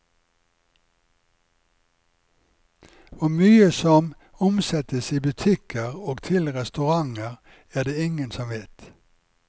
Hvor mye som omsettes i butikker og til restauranter, er det ingen som vet.